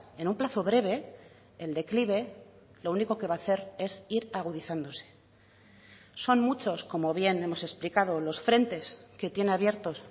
en un plazo breve el declive lo único que va a hacer es ir agudizándose son muchos como bien hemos explicado los frentes que tiene abiertos